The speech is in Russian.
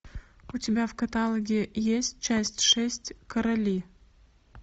у тебя в каталоге есть часть шесть короли